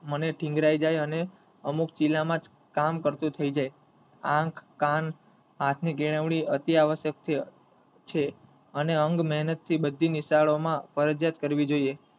મને થીન્ગ્રાઈ જાય અને અમુક ચીલામાં કામ કરતું થઈ જાય આંખ, કાન, હાથ ની કેળવણી અતિ આવશ્યક છે અને અંગ મેહનત બઘી નિશાળોમાં ફરજીયાત કરવી જોયે.